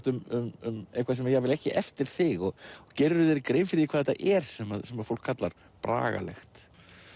um eitthvað sem er jafnvel ekki eftir þig gerirðu þér grein fyrir hvað þetta er sem fólk kallar Bragalegt